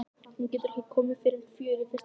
Hún getur ekki komið fyrr en fjögur í fyrsta lagi.